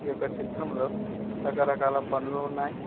ఈ యొక్క చిత్రంలో రకరకాల పండ్లు ఉన్నాయ్.